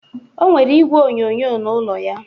O nwere igwe onyoonyo na ụlọ ya.